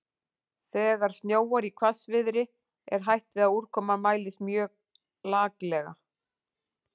Þegar snjóar í hvassviðri er hætt við að úrkoman mælist mjög laklega.